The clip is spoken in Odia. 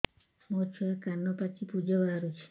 ମୋ ଛୁଆ କାନ ପାଚି ପୂଜ ବାହାରୁଚି